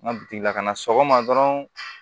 N ka bi lakana sɔgɔma dɔrɔn